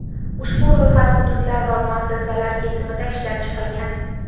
Ushbu ro‘yxat hududlar va muassasalar kesimida ishlab chiqilgan.